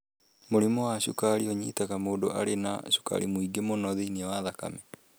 Mũrimũ wa cukari ũnyitaga mũndũ arĩ na cukari mũingĩ mũno thĩinĩ wa thakame.